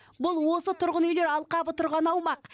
бұл осы тұрғын үйлер алқабы тұрған аумақ